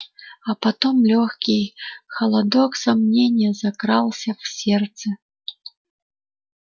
а потом лёгкий холодок сомнения закрался в сердце